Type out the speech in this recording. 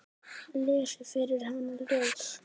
Lesi fyrir hana ljóð.